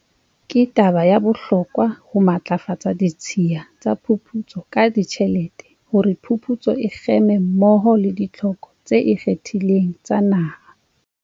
Ke taba ya bohlokwa ho matlafatsa ditshiya tsa phuputso ka ditjhelete hore phuputso e kgeme mmoho le ditlhoko tse ikgethileng tsa naha.